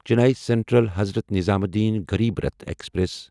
Chennai central Hazrat Nizamuddin Garib Rath express